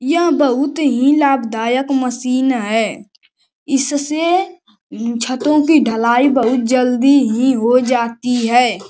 यह बोहुत ही लाभदायक मशीन है। इससे छतों की ढलाई बोहुत जल्दी ही हो जाती है।